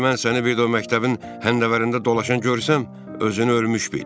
Əgər mən səni bir də o məktəbin həndəvərində dolaşan görsəm, özünü ölmüş bil.